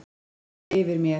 andi yfir mér.